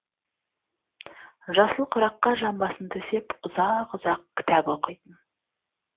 жасыл құраққа жамбасын төсеп ұзақ ұзақ кітап оқитын